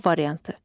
A variantı.